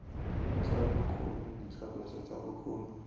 tsa bokgoni ditlhaloso tsa bokgoni